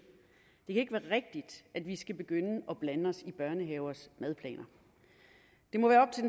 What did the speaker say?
det kan ikke være rigtigt at vi skal begynde at blande os i børnehavers madplaner